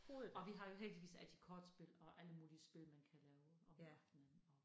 Og vi har jo heldigvis altid kortspil og alle mulige spil man kan lave om aftenen og